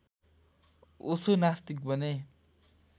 ओशो नास्तिक बने